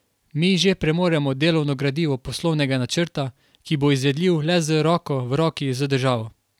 Mi že premoremo delovno gradivo poslovnega načrta, ki bo izvedljiv le z roko v roki z državo.